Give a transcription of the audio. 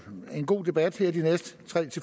god debat her de næste tre